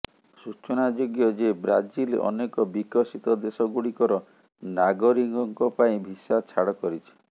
ସୂଚନାଯୋଗ୍ୟ ଯେ ବ୍ରାଜିଲ ଅନେକ ବିକଶିତ ଦେଶ ଗୁଡ଼ିକର ନାଗରୀକଙ୍କ ପାଇଁ ଭିସା ଛାଡ଼ କରିଛି